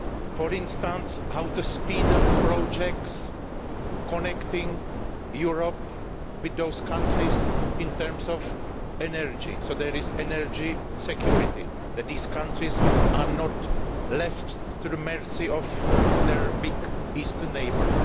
For instance, how we can speed up projects connecting the EU with those countries in terms of energy, so that there is energy security and these countries are not left to the mercy of their big Eastern neighbour.